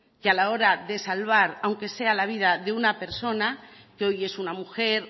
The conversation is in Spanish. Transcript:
que a la hora de salvar aunque sea la vida de una persona que hoy es una mujer